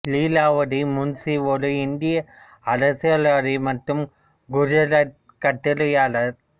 லீலாவதி முன்சி ஒரு இந்திய அரசியல்வாதி மற்றும் குஜராத்தி கட்டுரையாளர்